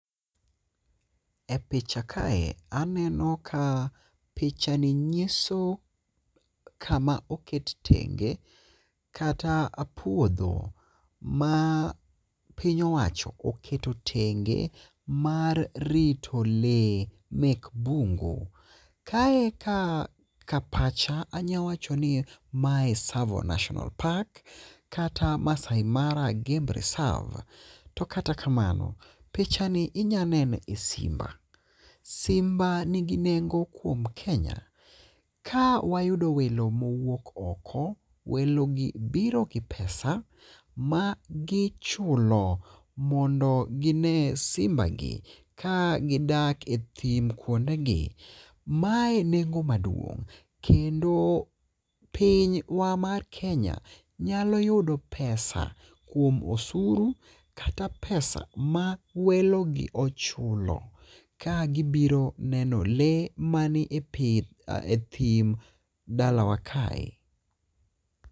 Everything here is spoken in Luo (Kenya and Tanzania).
E picha kae aneno ka picha ni nyiso kama oket tenge kata puodho ma piny owacho oketo tenge mar rito lee mek bungu ,ka eka kapacha anya wacho ni mae Savo National Park kata Maasai Mara Game Reserve, to kata kamano pichani inya neno simba. Simba nigi nengo kuom Kenya ka wayudo welo mowuok oko, welogi biro gi pesa magichulo mondo gine simbagi ka gidak e thim kwondegi, mae nengo maduong' kendo pinywa mar Kenya nyalo yudo pesa kuom osuru kata pesa ma welogi ochulo ka gibiro neno lee manie thim dalawa kaw.